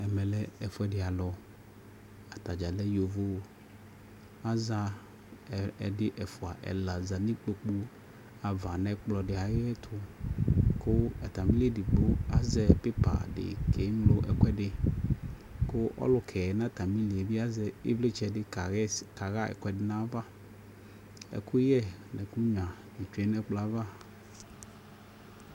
Ɛmɛ lɛ ɛfuɛdi alʋ Atadza lɛ yovo Aza, ɛdi, ɛfua, ɛla za n'ikpokpu ava nʋ ɛkplɔ di ayɛtʋ kʋ atamili ɛdigbo azɛ pipa di kɛŋlo ɛkʋɛdi, kʋ ɔlʋkɛ natamili bi azɛ ivlitsɛ di kaɣɛs kaya ɛkuɛdi naya va Ɛkʋyɛ nʋ ɛkʋnyʋa bi tsʋe nʋ ɛkplɔ yɛ ava